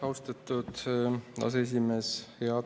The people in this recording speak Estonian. Austatud aseesimees!